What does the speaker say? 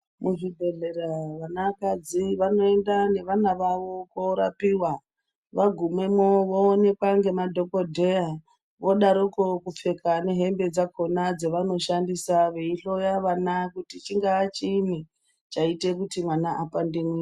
Muzvibhehlera vanakadzi vanoenda nevana vavo korapiwa vagumemwo voonekwa ngemadhokodheya, vodaroko kupfeka nehembe dzakona dzavanoshandisa veihloya vana kuti chingaa chiini chaite kuti mwana vapande mwiri.